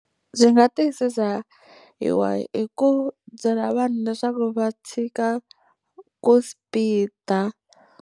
Byi nga tiyisisa hi hi ku byela vanhu leswaku va tshika ku speed-a.